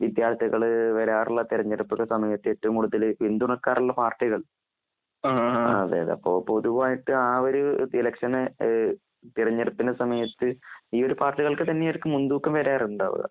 വിദ്യാർത്ഥികൾ വരാറുള്ള തെരഞ്ഞെടുപ്പിന്റെ സമയത്ത് ഏറ്റവും കൂടുതൽ പിന്തുണക്കാറുള്ള പാർട്ടി കൾ അതെ അതെ അപ്പൊ പൊതുവായിട്ട് ആ ഒരു ഇ- ലക്ഷൻ ന് തിരഞ്ഞെടുപ്പിന്റെ സമയത്ത് ഈയൊരു പാർട്ടികൾക്ക് തന്നെയായിരിക്കും മുൻതൂക്കം വരാറുണ്ടാവുക.